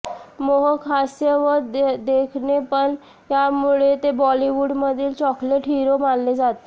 मोहक हास्य व देखणेपण यामुळे ते बॉलिवूडमधील चॉकलेट हिरो मानले जात